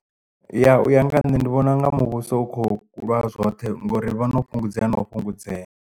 Ya u ya nga nṋe ndi vhona nga muvhuso u kho lwa zwoṱhe ngori vho no fhungudzea na u fhungudzea.